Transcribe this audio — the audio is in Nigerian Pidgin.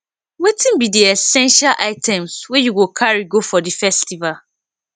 wetin be di essential items wey you go carry go for di festival